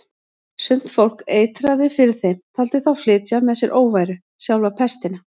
Sumt fólk eitraði fyrir þeim, taldi þá flytja með sér óværu, sjálfa pestina.